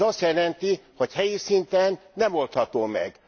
Ez azt jelenti, hogy helyi szinten nem oldható meg.